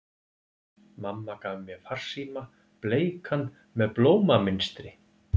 Mamma gaf mér farsíma, bleikan með blómamynstri.